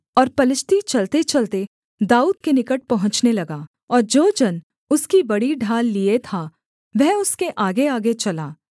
और पलिश्ती चलतेचलते दाऊद के निकट पहुँचने लगा और जो जन उसकी बड़ी ढाल लिए था वह उसके आगेआगे चला